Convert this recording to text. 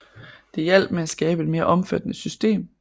Det hjalp med at skabe et mere omfattende system